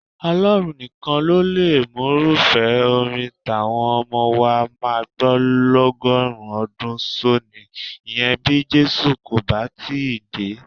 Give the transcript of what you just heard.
Ọlọ́run nìkan ló mọrúfẹ́ orin táwọn ọmọ wa máa gbọ́ lọ́gọ́rin ọdún sónìí, ìyẹn bí Jésù kò bà tíì dé.